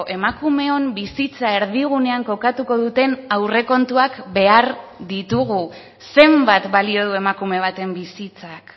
emakumeon bizitza erdigunean kokatuko duten aurrekontuak behar ditugu zenbat balio du emakume baten bizitzak